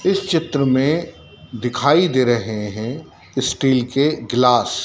इस चित्र में दिखाई दे रहे हैं स्टील के ग्लास ।